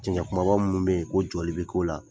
Cɛncɛ kumaba munnu bɛ yen ko jɔli bɛ ko la